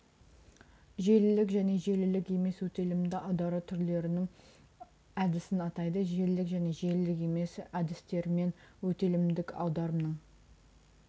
желілік және желілік емес өтелімді аудару түрлерінің әдісін атайды желілік және желілік емес әдістерімен өтелімдік аударымның